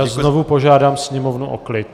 Já znovu požádám sněmovnu o klid.